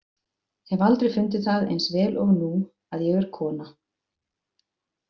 Hef aldrei fundið það eins vel og nú að ég er kona.